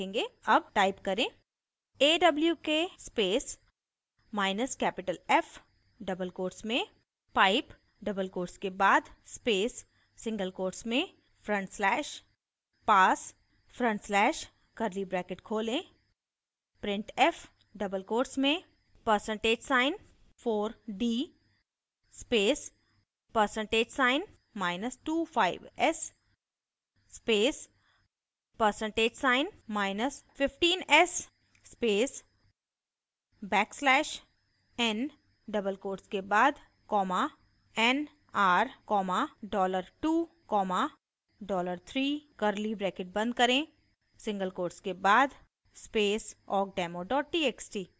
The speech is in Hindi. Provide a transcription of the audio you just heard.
अब type करें